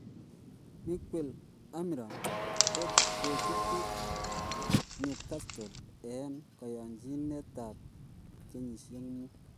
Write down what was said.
Miguel Amiron kochutu newcatle en koyonjinet ap kenyishiek muut